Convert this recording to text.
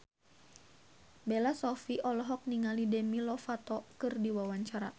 Bella Shofie olohok ningali Demi Lovato keur diwawancara